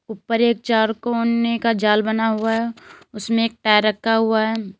ऊपर एक चार कोने का जाल बना हुआ है उसमें एक टायर रखा हुआ है।